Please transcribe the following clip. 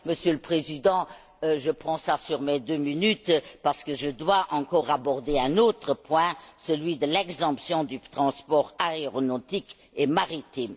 Monsieur le Président, je prends cela sur mes deux minutes parce que je dois encore aborder un autre point, celui de l'exemption du transport aéronautique et maritime.